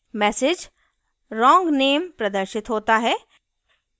message wrong name प्रदर्शित होता है